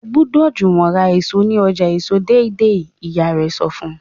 o gbódò Juwon rà èso ní ọjà èso deidei ìyá rè sọ fún